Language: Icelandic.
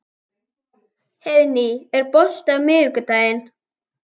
Heiðný, er bolti á miðvikudaginn?